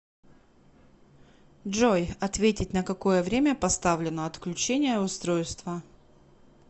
джой ответить на какое время поставлено отключение устройства